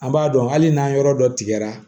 An b'a dɔn hali n'an yɔrɔ dɔ tigɛra